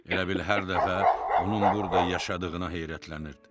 Elə bil hər dəfə onun burda yaşadığına heyrətlənirdi.